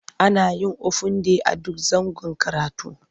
Ana yin ofin day a duk zangon karatu.